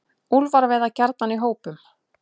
Úlfar veiða gjarnan í hópum.